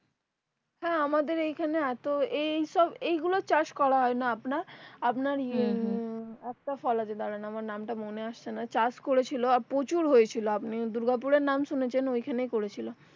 হ্যাঁ আমাদের এইখানে এতো এইসব এগুলোই চাষ করা হয় না আপনার আপনার একটা ফল আছে দাঁড়ান আমার নাম টা মনে আসছে না চাষ করেছিল আর প্রচুর হয়ে ছিল তাহলে আপনি দুর্গাপুর এর নাম শুনেছেন ঐখানেই করেছিল